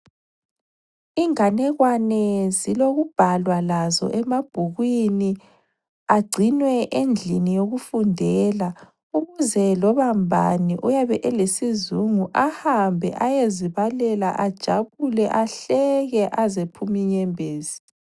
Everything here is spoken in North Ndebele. Inganekwane zilokubhalwa lazo emabhukwini agcinwe endlini yokufundela ukuze loba ngubani oyabe elesizungu ehambe eyezibalela ajabule ahleke aze aphume inyembezi.